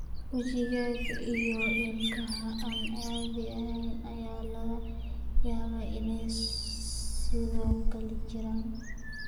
Wajiga iyo ilkaha aan caadi ahayn ayaa laga yaabaa inay sidoo kale jiraan.